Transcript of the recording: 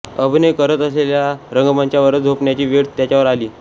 अभिनय करत असलेल्या रंगमंचावरच झोपण्याची वेळ त्याच्यावर आली